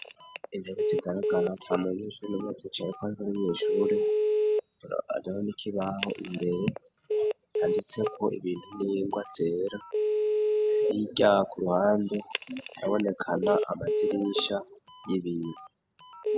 Intebe zigaragara ata mu nyeshure numwe azicayeko muriyo shure hariho n'ikibaho imbere canditseko ibintu n'ingwa zera hirya ku ruhande habonekana amadirisha y'ibiyo.